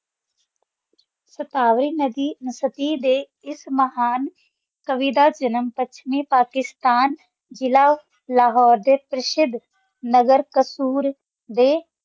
ਸਥਾਰੇ ਸਖੇ ਦਾ ਇਸ ਮਹਾਨ ਕਾਵਿ ਦਾ ਜਨਮ ਟੁਕਸ਼ਮੀ ਪਾਕਿਸਤਾਨ ਜ਼ਿੱਲਾ ਲਾਹੌਰ ਦਾ ਕ੍ਰਿਸ਼ਿਦ ਨਗਰ ਕਸੂਰ ਡੇ